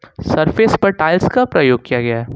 Surface पर tiles का प्रयोग किया गया है।